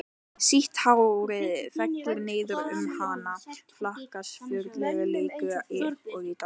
Sítt hárið fellur niður um hana, flaksast fagurlega líkt og í dansi.